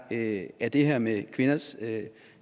det er det her med kvinders